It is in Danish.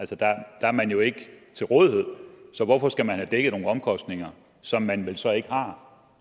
der er man jo ikke til rådighed så hvorfor skal man have dækket nogle omkostninger som man vel så ikke har